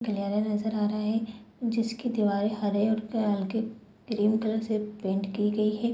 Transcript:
गलियारा नजर आ रहा है जिसकी दीवारें हरे और हल्के क्रीम कलर से पेंट की गई है।